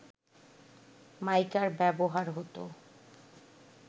মাইকার ব্যবহার হতো